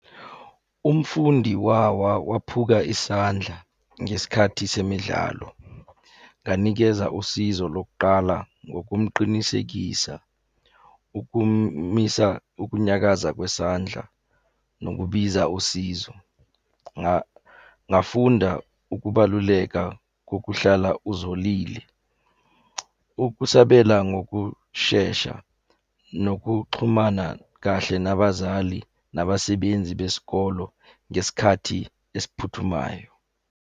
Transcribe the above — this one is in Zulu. Umfundi wawa waphuka isandla ngesikhathi semidlalo. Nganikeza usizo lokuqala ngokumqinisekisa ukumisa ukunyakaza kwesandla nokubiza usizo. Ngafunda ukubaluleka kokuhlala uzolile. Ukusabela ngokushesha nokuxhumana kahle nabazali nabasebenzi besikolo ngesikhathi esiphuthumayo.